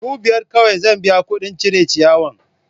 Ku biyar kawai zan biya kuɗin cire ciyawan!